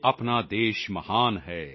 ਆਪਣਾ ਦੇਸ਼ ਮਹਾਨ ਹੈ